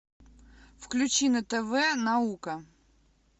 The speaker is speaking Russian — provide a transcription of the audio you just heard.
включи на тв наука